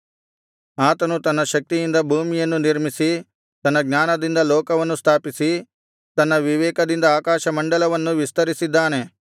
ಆತನು ತನ್ನ ಶಕ್ತಿಯಿಂದ ಭೂಮಿಯನ್ನು ನಿರ್ಮಿಸಿ ತನ್ನ ಜ್ಞಾನದಿಂದ ಲೋಕವನ್ನು ಸ್ಥಾಪಿಸಿ ತನ್ನ ವಿವೇಕದಿಂದ ಆಕಾಶಮಂಡಲವನ್ನು ವಿಸ್ತರಿಸಿದ್ದಾನೆ